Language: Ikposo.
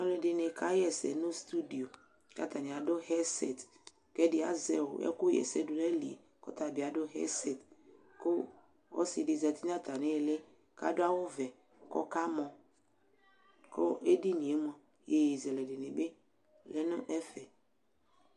Alʋɛdɩnɩ kaɣa ɛsɛ nʋ stuidio kʋ atanɩ adʋ ɣɛdzsɛt kʋ ɛdɩ azɛ ɛkʋɣa ɛsɛ dʋ nʋ ayili yɛ kʋ ɔta bɩ adʋ ɣɛdsɛt kʋ ɔsɩ dɩ zati nʋ atamɩ ɩɩlɩ kʋ adʋ awʋvɛ kʋ ɔkamɔ kʋ edini yɛ mʋa, iyeyezɛlɛ dɩnɩ bɩ lɛ nʋ ɛfɛ